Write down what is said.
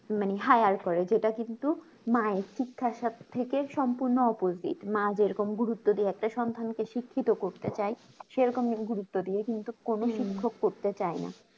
মানে hier করে যেটা কিন্তু মায়ের শিক্ষার সাথে থেকে সম্পূর্ণ opojit মা যে রকম গুরুত্ব দেওয়াতে সন্তানকে শিক্ষিত করতে চাই সেই রকম গুরুত্ব দিয়ে কিন্তু কোনো শিক্ষক করতে চাইনা